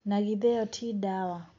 Na githe ĩyo ti dawa.